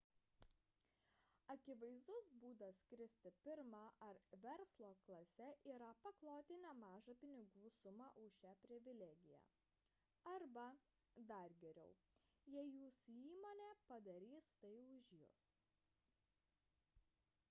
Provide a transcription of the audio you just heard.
akivaizdus būdas skristi pirma ar verslo klase yra pakloti nemažą pinigų sumą už šią privilegiją arba dar geriau jei jūsų įmonė padarys tai už jus